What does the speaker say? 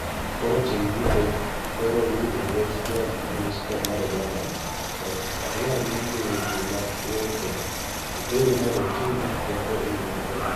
Koro ting ' duto koro ni e lwet jo munispol ma Dodoma, ok adwar winjo weche mag ng'ur kendo, ikreuru mondo utim gik moko e yo maber.